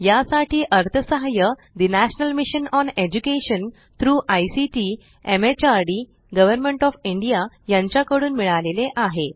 यासाठी अर्थसहाय्य national mission on education through ICT MHRD government O F India यांच्याकडून मिळालेले आहे